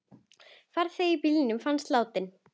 Farþegi í bílnum fannst látinn.